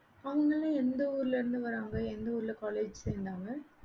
அவங்களாம் எந்த ஊர்ல இருந்து வராங்க எந்த ஊர்ல college சேர்ந்தாங்க